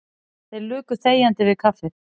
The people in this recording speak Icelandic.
Þeir luku þegjandi við kaffið.